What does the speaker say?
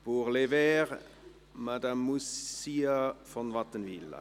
Pour les Verts, Madame Moussa von Wattenwyl.